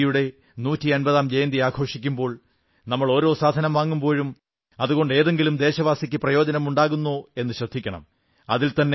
ഗാന്ധിജിയുടെ നൂറ്റി അൻപതാം ജയന്തി ആഘോഷിക്കുമ്പോൾ നമ്മൾ ഓരോ സാധനം വാങ്ങുമ്പോഴും അതുകൊണ്ട് ഏതെങ്കിലും ദേശവാസിക്ക് പ്രയോജനമുണ്ടാകുന്നോ എന്നു ശ്രദ്ധിക്കണം